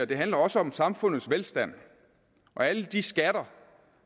det handler også om samfundets velstand og alle de skatter